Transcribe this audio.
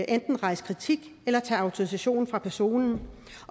kan rejse kritik eller tage autorisationen fra personen